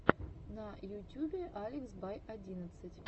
на ютюбе алекс бай одиннадцать